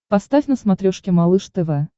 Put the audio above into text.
поставь на смотрешке малыш тв